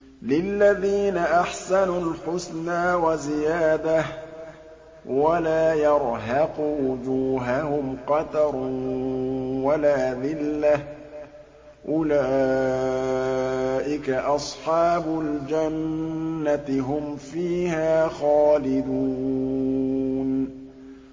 ۞ لِّلَّذِينَ أَحْسَنُوا الْحُسْنَىٰ وَزِيَادَةٌ ۖ وَلَا يَرْهَقُ وُجُوهَهُمْ قَتَرٌ وَلَا ذِلَّةٌ ۚ أُولَٰئِكَ أَصْحَابُ الْجَنَّةِ ۖ هُمْ فِيهَا خَالِدُونَ